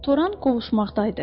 Toran qovuşmaqdaydı.